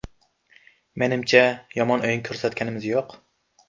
Menimcha, yomon o‘yin ko‘rsatganimiz yo‘q.